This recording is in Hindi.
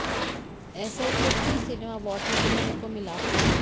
ऐसा ही कुछ जी सिने अवार्ड में देखने को मिला